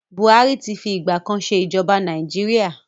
Buhari ti fi ìgbà kan ṣe ij̀ọba Nàìjíríà.